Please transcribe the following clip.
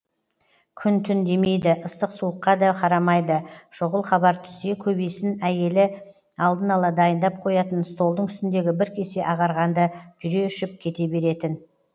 күн түн демейді ыстық суыққа да қарамайды шұғыл хабар түссе көбейсін әйелі алдын ала дайындап қоятын столдың үстіндегі бір кесе ағарғанды жүре ішіп кете беретін